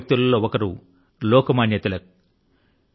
ఆ గొప్ప వ్యక్తుల లో ఒకరు లోక మాన్య తిలక్